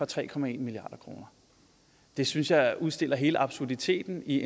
tre milliard kroner det synes jeg udstiller hele absurditeten i